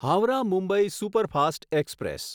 Howrah Mumbai superfast express